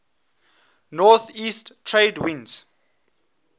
northeast trade winds